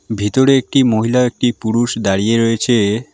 ভিতরে একটি মহিলা একটি পুরুষ দাঁড়িয়ে রয়েছে।